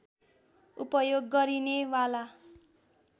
उपयोग गरिने वाला